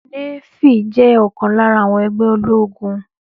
Nééfì jẹ́ ọ̀kan lára àwọn ẹgbẹ́ ológun